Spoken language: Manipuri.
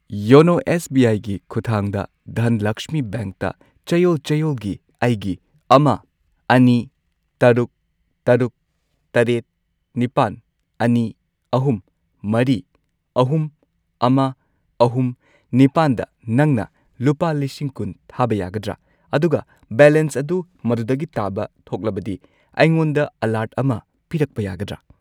ꯌꯣꯅꯣ ꯑꯦꯁ ꯕꯤ ꯑꯥꯏ ꯒꯤ ꯈꯨꯊꯥꯡꯗ ꯙꯟꯂꯛꯁꯃꯤ ꯕꯦꯡꯛꯇ ꯆꯌꯣꯜ ꯆꯌꯣꯜꯒꯤ ꯑꯩꯒꯤ ꯑꯃ, ꯑꯅꯤ, ꯇꯔꯨꯛ, ꯇꯔꯨꯛ, ꯇꯔꯦꯠ, ꯅꯤꯄꯥꯟ, ꯑꯅꯤ, ꯑꯍꯨꯝ, ꯃꯔꯤ, ꯑꯍꯨꯝ, ꯑꯃ, ꯑꯍꯨꯝ, ꯅꯤꯄꯥꯟꯗ ꯅꯪꯅ ꯂꯨꯄꯥ ꯂꯤꯁꯤꯡ ꯀꯨꯟ ꯊꯥꯕ ꯌꯥꯒꯗ꯭ꯔꯥ? ꯑꯗꯨꯒ ꯕꯦꯂꯦꯟꯁ ꯑꯗꯨ ꯃꯗꯨꯗꯒꯤ ꯇꯥꯕ ꯊꯣꯛꯂꯕꯗꯤ ꯑꯩꯉꯣꯟꯗ ꯑꯦꯂꯔꯠ ꯑꯃ ꯄꯤꯔꯛꯄ ꯌꯥꯒꯗ꯭ꯔꯥ?